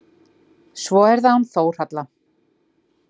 Svo er það hún Þórhalla.